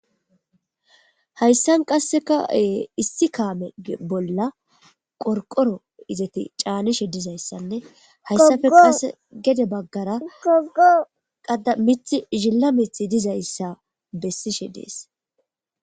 hayssan qasseka7e issi kaamee bolla qorqoro izati caanishe dizayssanne hayssafe kaase gede baggara qada mithi zilla mith dizayssa bessishe dees